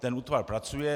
Ten útvar pracuje.